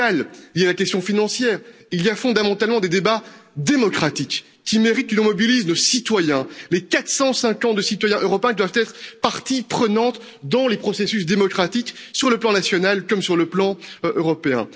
numérique, liés à la question financière, il y a fondamentalement des débats démocratiques, qui méritent que l'on mobilise nos citoyens. Les 450 millions de citoyens européens doivent être partie prenante dans les processus démocratiques sur le plan national, comme sur le plan européen.